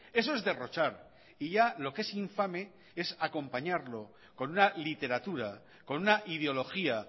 eso es derrochar y ya lo que es infame es acompañarlo con una literatura con una ideología